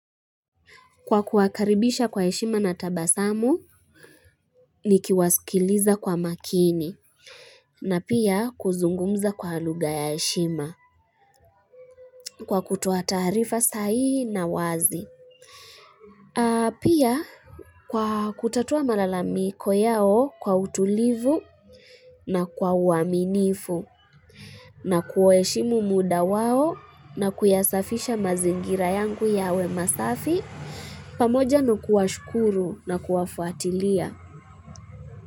Kwa kuakaribisha kwa eshima na tabasamu, ni kiwasikiliza kwa makini, na pia kuzungumza kwa luga ya eshima. Kwa kutoa tarifa sahihi na wazi. Pia kwa kutatua malalamiko yao kwa utulivu na kwa uaminifu, na kwa eshimu muda wao na kuyasafisha mazingira yangu yawe masafi. Pamoja nakuwa shukuru na kuwafuatilia.